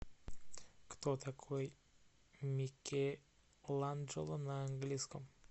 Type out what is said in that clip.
кто такой микеланджело на английском